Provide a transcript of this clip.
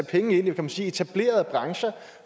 penge i kan man sige etablerede brancher